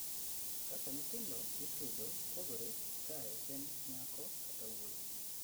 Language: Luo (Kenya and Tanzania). kaka nyithindo ipidho pogore kae en nyako kata wuoyi